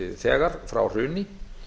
þegar frá hruni